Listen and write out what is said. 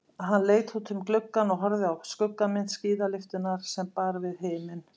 Hann leit út um gluggann og horfði á skuggamynd skíðalyftunnar sem bar við himin.